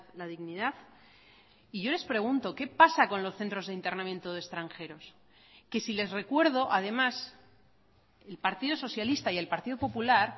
la dignidad y yo les pregunto qué pasa con los centros de internamiento de extranjeros que si les recuerdo además el partido socialista y el partido popular